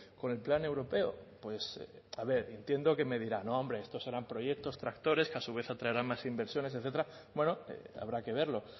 con el plan europeo pues a ver y entiendo que me dirá no hombre estos serán proyectos tractores que a su vez atraerán más inversiones etcétera bueno habrá que verlo